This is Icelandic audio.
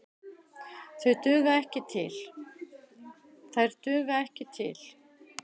Þær duga ekki til.